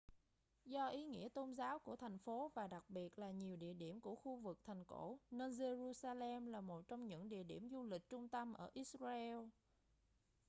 do ý nghĩa tôn giáo của thành phố và đặc biệt là nhiều địa điểm của khu vực thành cổ nên jerusalem là một trong những điểm du lịch trung tâm ở israel